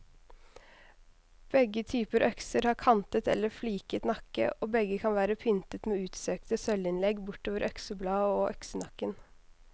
Begge typer økser har kantet eller fliket nakke, og begge kan være pyntet med utsøkte sølvinnlegg bortover øksebladet og øksenakken.